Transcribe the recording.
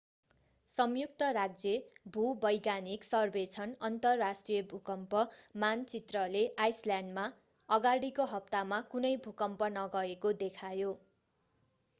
संयुक्त राज्य भूवैज्ञानिक सर्वेक्षण अन्तर्राष्ट्रिय भूकम्प मानचित्रले आइसल्यान्डमा अगाडिको हप्तामा कुनै भूकम्प नगएको देखायो